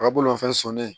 A ka bolomafɛn sɔnni